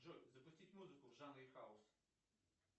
джой запустить музыку в жанре хаус